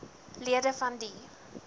lede van die